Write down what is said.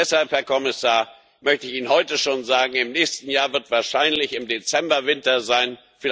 Deshalb, Herr Kommissar, möchte ich Ihnen heute schon sagen Im nächsten Jahr wird wahrscheinlich im Dezember Winter sein.